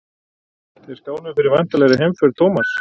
Þeir skáluðu fyrir væntanlegri heimför Thomas.